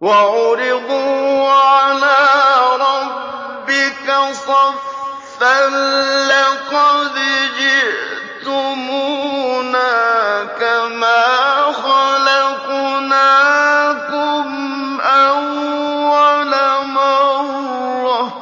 وَعُرِضُوا عَلَىٰ رَبِّكَ صَفًّا لَّقَدْ جِئْتُمُونَا كَمَا خَلَقْنَاكُمْ أَوَّلَ مَرَّةٍ ۚ